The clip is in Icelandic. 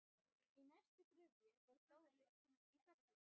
Í næstu gryfju var Dóra í Felli.